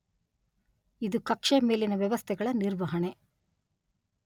ಇದು ಕಕ್ಷೆಯ ಮೇಲಿನ ವ್ಯವಸ್ಥೆಗಳ ನಿರ್ವಹಣೆ